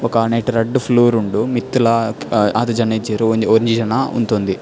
ಬೊಕ್ಕ ನೆಟ್ಟ್ ರಡ್ಡ್ ಫ್ಲೋರ್ ಉಂಡು ಮಿತ್ತುಲ ಆತ್ ಜನ ಇಜ್ಜೆರ್ ಒಂಜಿ ಜನ ಉಂತೊಂದೆ.